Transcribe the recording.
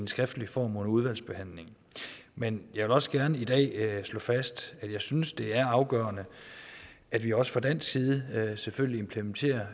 skriftlig form under udvalgsbehandlingen men jeg vil også gerne i dag slå fast at jeg synes det er afgørende at vi også fra dansk side selvfølgelig implementerer